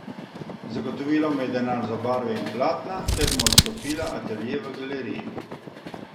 Zagotovila mu je denar za barve in platna ter mu odstopila atelje v galeriji.